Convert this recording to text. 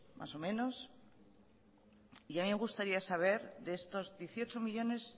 más o menos y a mí me gustaría saber de estos dieciocho millónes